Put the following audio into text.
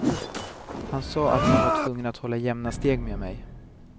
Han sa att han var tvungen att hålla jämna steg med mig.